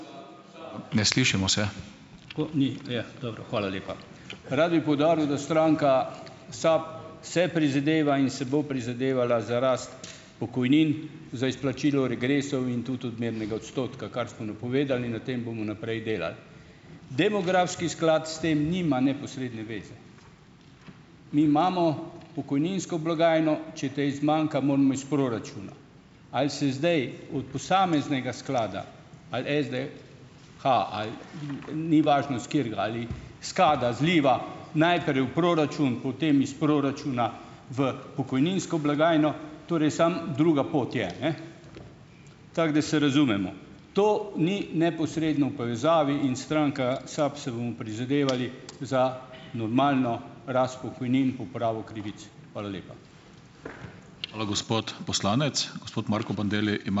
Dobro, hvala lepa. Rad bi poudaril, da stranka SAB se prizadeva in se bo prizadevala za rast pokojnin, za izplačilo regresov in tudi odmernega odstotka, kar smo napovedali in na tem bomo naprej delali. Demografski sklad s tem nima neposredne veze. Mi imamo pokojninsko blagajno - če tej zmanjka, moramo iz proračuna. Ali se zdaj od posameznega sklada - ali SDH, ali ni važno s katerega, ali s KAD-a, zliva najprej v proračun, potem iz proračuna v pokojninsko blagajno, torej samo druga pot je, ne, tako da se razumemo. To ni neposredno v povezavi in stranka SAB se bomo prizadevali za normalno rast pokojnin, popravo krivic. Hvala lepa.